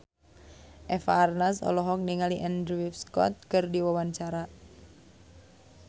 Eva Arnaz olohok ningali Andrew Scott keur diwawancara